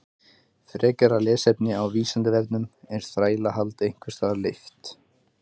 Frekara lesefni á Vísindavefnum: Er þrælahald einhvers staðar leyft?